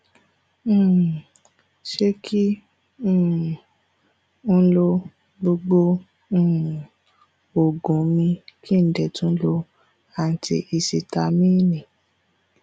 um ṣé kí um n lo gbogbo um oògùn mi kí n dẹ tún lo antihisitamíìnì